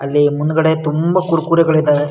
ಅಲ್ಲಿ ಮುಂದುಗಡೆ ತುಂಬಾ ಕುರ್ಕುರೆ ಗಳು ಇದ್ದವೇ-